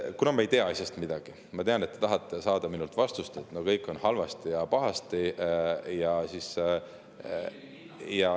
Ma ei tea asjast midagi – ma tean, et te tahate saada minult vastust, et kõik on halvasti ja pahasti …